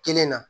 Kelen na